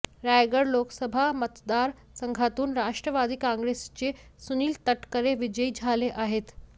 रायगड लोकसभा मतदारसंघातून राष्ट्रवादी काँग्रेसचे सुनील तटकरे विजयी झाले आहेत